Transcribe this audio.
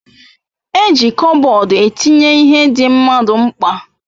E ji Kopbodu etinye ihe di mmadu mkpa